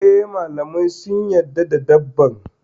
E, malamai sun yarda da dabban.